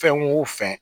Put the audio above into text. Fɛn o fɛn